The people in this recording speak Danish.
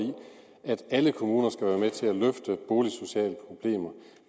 alle kommuner skal være med til at løfte boligsociale problemer